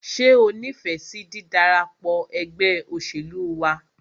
Ṣé o nífẹsí dídarapọ̀ ẹgbẹ́ òṣèlú wa?